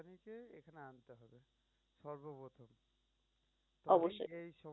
অবশ্যই।